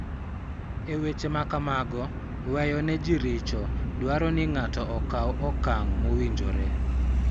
E weche ma kamago, weyo ne ji richo dwaro ni ng�ato okaw okang� mowinjore .